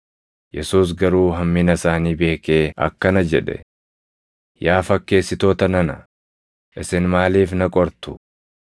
Yesuus garuu hammina isaanii beekee akkana jedhe; “Yaa fakkeessitoota nana, isin maaliif na qortu?